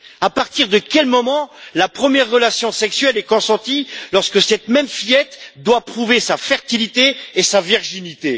À partir de quel moment la première relation sexuelle est consentie lorsque cette même fillette doit prouver sa fertilité et sa virginité?